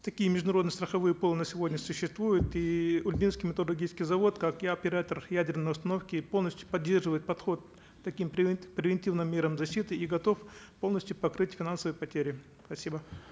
такие международные страховые пулы на сегодня существуют и ульбинский металлургический завод как и оператор ядерной установки полностью поддерживает подход к таким превентивным мерам и готов полностью покрыть финансовые потери спасибо